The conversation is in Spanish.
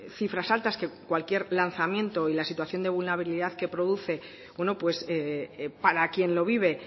cifras altas que cualquier lanzamiento y la situación de vulnerabilidad que produce bueno para quien lo vive